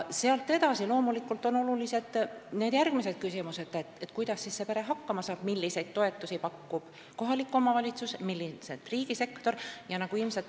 Sealt edasi on loomulikult olulised järgmised küsimused – kuidas see pere hakkama saab, milliseid toetusi pakub kohalik omavalitsus ja milliseid riigisektor jne.